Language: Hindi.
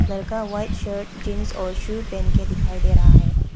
लड़का व्हाइट शर्ट जींस और शू पहन के दिखाई दे रहा है।